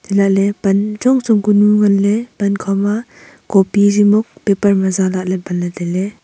elahley pan chongchong kanu nganley pan khoma copy jimok paper ma za lahley banley tailey.